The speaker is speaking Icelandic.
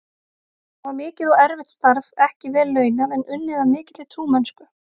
Það var mikið og erfitt starf, ekki vel launað, en unnið af mikilli trúmennsku.